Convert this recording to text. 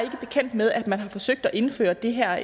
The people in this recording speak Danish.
bekendt med at man har forsøgt at indføre det her